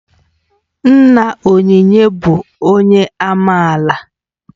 Nna Onyinye bụ onye amaala